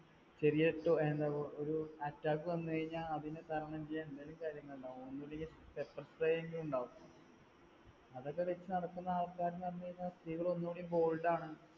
ചെറിയ ഒരു attack വന്നു കഴിഞ്ഞാൽ അതിനെ തരണം ചെയ്യാൻ എന്തെങ്കിലും കാര്യങ്ങളുണ്ടാവും. ഒന്നുമില്ലെങ്കിൽ pepper spray എങ്കിലും ഉണ്ടാകും. അതൊക്കെ വെച്ച് നടക്കുന്ന ആൾക്കാർ എന്ന് പറഞ്ഞു കഴിഞ്ഞാൽ സ്ത്രീകൾ ഒന്നുകൂടി bold ആണ്